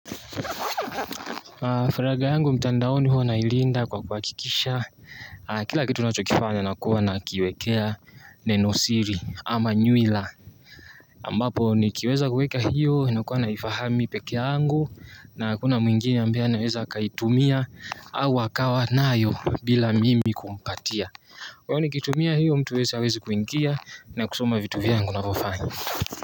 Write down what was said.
Faraga yangu mtandaoni huwa nailinda kwa kuhakikisha kila kitu nachokifanya nakuwa nakiwekea nenosiri ama nywila ambapo nikiweza kuweka hiyo ninakuwa naifahamu mi peke yangu. Na hakuna mwingine ambaye anaweza akaitumia au akawa nayo bila mimi kumpatia. Kwani nikitumia hiyo mtu hawezi kuingia na kusoma vitu vyangu navyofanya.